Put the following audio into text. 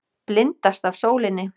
Blindast af sólinni.